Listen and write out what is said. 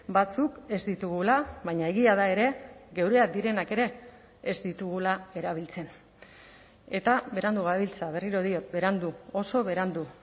batzuk ez ditugula baina egia da ere geureak direnak ere ez ditugula erabiltzen eta berandu gabiltza berriro diot berandu oso berandu